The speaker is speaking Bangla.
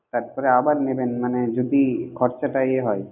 তারপর আবার নেবেন মানে যদি খরচাটা এ হয়